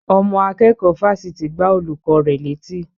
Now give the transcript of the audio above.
Ọmọ akẹ́kọ̀ọ́ fáfitì gbá olùkọ́ rẹ̀ létí